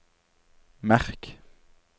merk